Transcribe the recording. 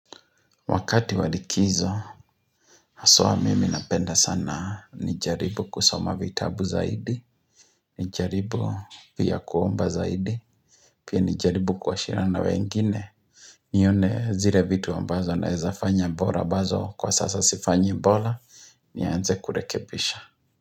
Wakati wa likizo, hasa mimi napenda sana nijaribu kusoma vitabu zaidi, nijaribu pia kuomba zaidi, pia nijaribu kwaashirana wengine. Nione zile vitu ambazo naeza fanya bora. Ambazo kwa sasa sifanyi bora nianze kurekebisha.